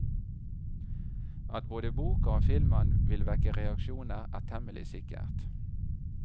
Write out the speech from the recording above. At både boka og filmen vil vekke reaksjoner, er temmelig sikkert.